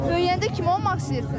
Böyüyəndə kim olmaq istəyirsən?